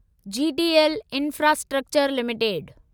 GTL infrastructure limited